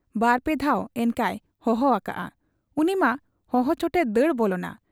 ᱵᱟᱨᱯᱮ ᱫᱷᱟᱣ ᱮᱱᱠᱟᱭ ᱦᱚᱦᱚ ᱟᱠᱟᱜ ᱟ ᱾ ᱩᱱᱤ ᱢᱟ ᱦᱚᱦᱚ ᱪᱷᱚᱴ ᱮ ᱫᱟᱹᱲ ᱵᱚᱞᱚᱱᱟ ᱾